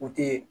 U tɛ